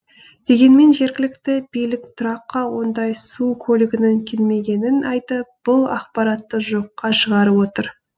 дегенмен жергілікті билік тұраққа ондай су көлігінің келмегенін айтып бұл ақпаратты жоққа шығарып отыр